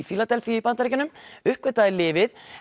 Fíladelfíu í Bandaríkjunum uppgötvaði lyfið